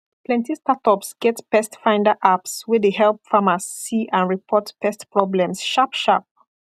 plenty startups get pestfinder apps wey de help farmers see and report pest problems sharp sharp